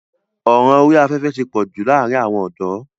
ọ̀ràn orí afẹ́fẹ́ ti pọ̀jù láàrin àwọn ọ̀dọ́.